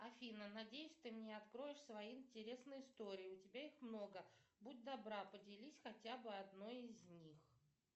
афина надеюсь ты мне откроешь свои интересные истории у тебя их много будь добра поделись хотя бы одной из них